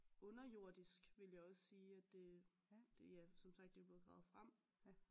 Underjordisk ville jeg også sige at det det ja som sagt det er blevet gravet frem